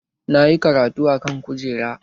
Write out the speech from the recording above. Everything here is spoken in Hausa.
Na yi karatu a kan kujera